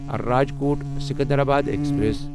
Rajkot Secunderabad express